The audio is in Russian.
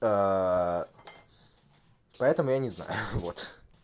поэтому я не знаю ха-ха вот